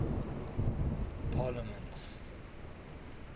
parliaments